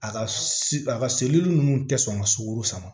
A ka si a ka seli ninnu tɛ sɔn ka sukaro sama